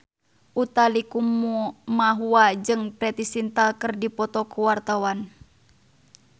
Utha Likumahua jeung Preity Zinta keur dipoto ku wartawan